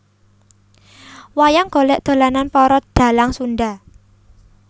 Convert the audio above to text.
Wayang golek dolanan para dhalang Sunda